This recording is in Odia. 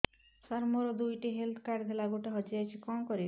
ସାର ମୋର ଦୁଇ ଟି ହେଲ୍ଥ କାର୍ଡ ଥିଲା ଗୋଟେ ହଜିଯାଇଛି କଣ କରିବି